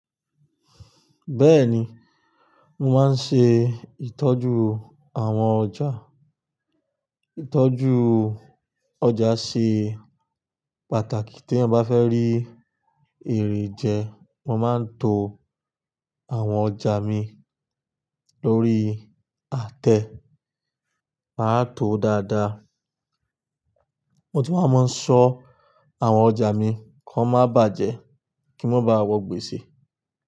Bẹ́ẹ̀ni, mo máa ń ṣe ìtọ́jú àwọn ọjà. Ìtọ́jú ọjà ṣe pàtàkì tí ẹ bá fẹ́ rí èrè jẹ. Mo máa ń to àwọn ọjà mi lórí àtẹ, màá to dáadáa. Mo tún a máa ń ṣọ àwọn ọjà mi kó má bàjẹ́ kí wọ́n bá wọ gbèsè.